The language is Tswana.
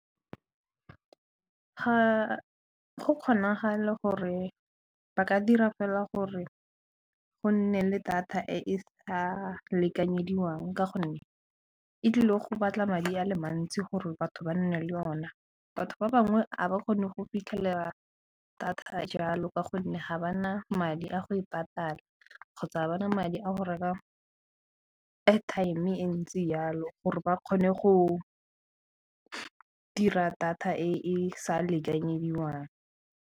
Ga go kgonagale gore ba ka dira fela gore go nne le data e e sa lekanyediwang ka gonne e tlile go batla madi ale mantsi gore batho ba nne le ona, batho ba bangwe ga ba kgone go fitlhelela thata jalo ka gonne ga ba na madi a go e patala kgotsa ba na madi a go reka airtime e ntsi yalo gore ba kgone go dira data e sa lekanyediwang.